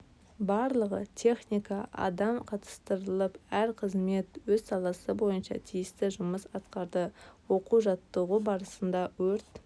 барлығы техника адам қатыстырылып әр қызмет өз саласы бойынша тиісті жұмыс атқарды оқу-жаттығу барысында өрт